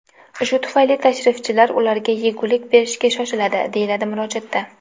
Shu tufayli tashrifchilar ularga yegulik berishga shoshiladi”, deyiladi murojaatda.